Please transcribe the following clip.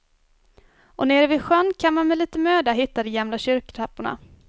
Och nere vid sjön kan man med lite möda hitta de gamla kyrktrapporna.